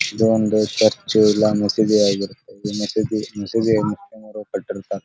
ಇದೊಂದು ಚರ್ಚು ಇಲ್ಲ ಮಸೀದಿ ಆಗಿರುತ್ತೆ ಇದು ಮಸೀದಿ ಮಸಿದು ಕಟ್ಟಿರುತ್ತಾರೆ .